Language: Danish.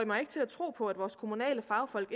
mig ikke til at tro på at vores kommunale fagfolk